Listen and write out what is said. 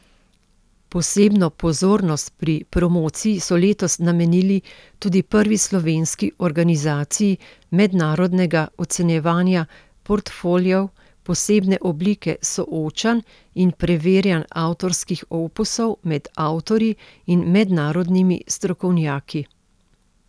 Posebno pozornost pri promociji so letos namenili tudi prvi slovenski organizaciji mednarodnega Ocenjevanja portfoliev, posebne oblike soočanj in preverjanj avtorskih opusov med avtorji in mednarodnimi strokovnjaki.